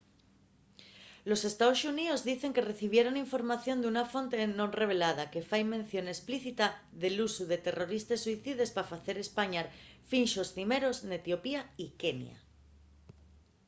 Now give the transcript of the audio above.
los estaos xuníos dicen que recibieron información d’una fonte non revelada que fai mención esplícita del usu de terroristes suicides pa facer españar finxos cimeros” n’etiopía y kenia